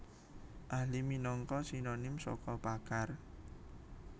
Ahli minangka sinonim saka pakar